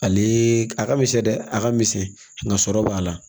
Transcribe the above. Ale a ka misɛn dɛ a ka misɛn nga sɔrɔ b'a la